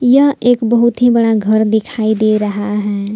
यह एक बहुत ही बड़ा घर दिखाई दे रहा है।